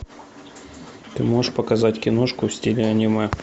ты можешь показать киношку в стиле аниме